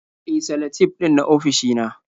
E, salatif ɗin na ofishina.